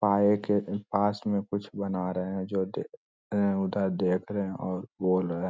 पाए के पास में कुछ बना रहे हैं जो दे रहें उधर देख रहें हैं और बोल रहें।